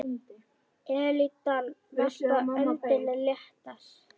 Elítan varpaði öndinni léttar.